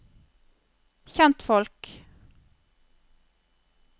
kjentfolk